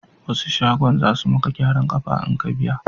Wasu shagon za su maka gyaran kafa in ka biya